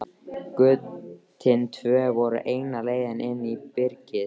Götin tvö voru eina leiðin inn í byrgið.